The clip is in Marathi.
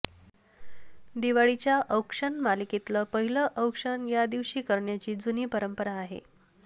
दिवाळीच्या औक्षण मालिकेतलं पहिलं औक्षण या दिवशी करण्याची जुनी परंपरा आहे